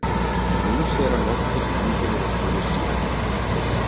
Og nú sér hann nokkuð sem enginn hefur áður séð í þessum firði.